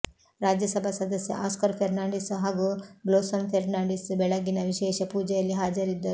ರಾಜ್ಯಸಭಾ ಸದಸ್ಯ ಆಸ್ಕರ್ ಫೆೆರ್ನಾಂಡಿಸ್ ಹಾಗೂ ಬ್ಲೋಸಂ ಫೆರ್ನಾಂಡಿಸ್ ಬೆಳಗ್ಗಿನ ವಿಶೇಷ ಪೂಜೆಯಲ್ಲಿ ಹಾಜರಿದ್ದರು